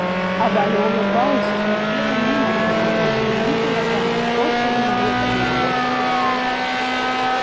а валя улыбалась и смотрела мимо него точно видела там что то неведомое для всех